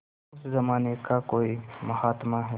उस जमाने का कोई महात्मा है